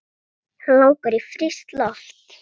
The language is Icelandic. Hana langar í frískt loft.